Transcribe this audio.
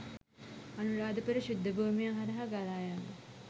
අනුරාධපුර ශුද්ධ භූමිය හරහා ගලායන